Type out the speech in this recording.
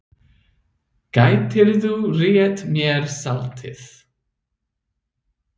Gætirðu rétt mér saltið?